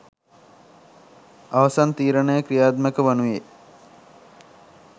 අවසන් තීරණය ක්‍රියාත්මක වනුයේ